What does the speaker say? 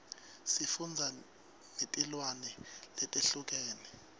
sifundza netilwimi letehlukene